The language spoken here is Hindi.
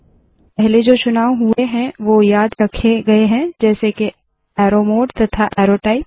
पहले जो चुनाव हुए है वोह याद रखे गए है जैसे के अरो मोडे तथा अरो टाइप